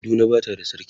Kaduna Bata da sarki